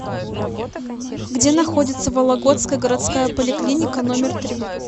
где находится вологодская городская поликлиника номер три